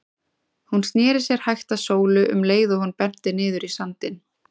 Hún sneri sér hægt að Sólu um leið og hún benti niður í sandinn.